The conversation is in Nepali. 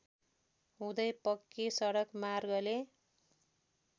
हुँदै पक्की सडक मार्गले